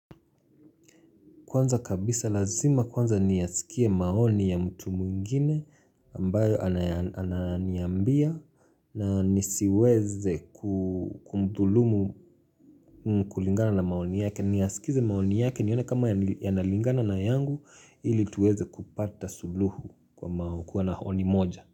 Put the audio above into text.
Kwanza kabisa lazima kwanza niyasikie maoni ya mtu mwingine ambayo anaya ananiambia na nisiweze ku kumdhulumu kulingana na maoni yake niyasikize maoni yake nione kama yani yanalingana na yangu ili tuweze kupata suluhu kwa mao kuwa na honi moja.